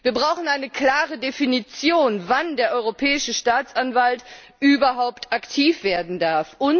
Wir brauchen eine klare Definition, wann der Europäische Staatsanwalt überhaupt aktiv werden darf.